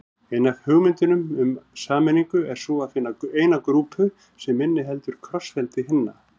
Ein af hugmyndunum um sameiningu er sú að finna eina grúpu sem inniheldur krossfeldi hinna.